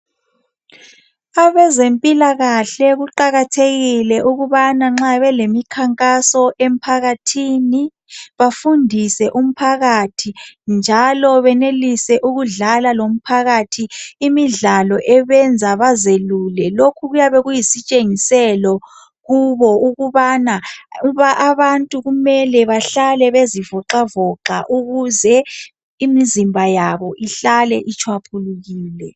Abazempilakahle kuqakathekile ukubana nxa belemikhankaso emphakathini bafundise umphakathi njalo benelise ukudlala lomphakathi imidlalo ebenza bazelule lokhu kuyabe kuyisitshengiselo kubo ukubana abantu kumele bahlale bezivoxavoxa ukuze imizimba yabo ihlale itshwaphulukile